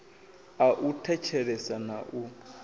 a u thetshelesa na u